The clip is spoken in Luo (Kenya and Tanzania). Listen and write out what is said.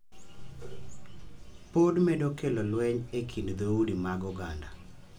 Pod medo kelo lweny e kind dhoudi mag oganda.